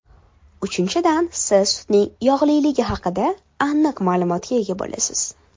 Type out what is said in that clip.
Uchinchidan, siz sutning yog‘liligi haqida aniq ma’lumotga ega bo‘lasiz.